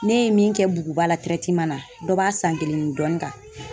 Ne ye min kɛ buguba la na dɔ b'a san kelen ni dɔɔni kan.